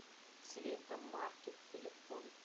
цветомаркет телефон